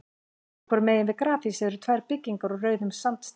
Sitt hvoru megin við grafhýsið eru tvær byggingar úr rauðum sandsteini.